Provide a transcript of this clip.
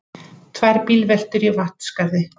Tvær bílveltur í Vatnsskarði